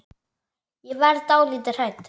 Ég verð dálítið hrædd.